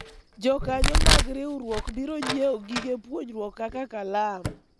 jokanyo mag riwruok biro nyiewo gige puonjruok kaka kalam